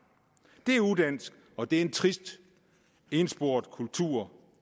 det er udansk og det er en trist ensporet kultur